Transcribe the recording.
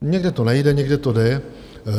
Někde to nejde, někde to jde.